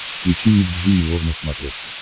включи ник джуниор на смотрешке